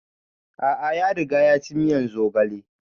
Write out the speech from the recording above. A'a ya riga ya ci miyan zogale